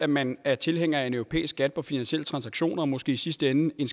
man er tilhænger af en europæisk skat på finansielle transaktioner og måske i sidste ende en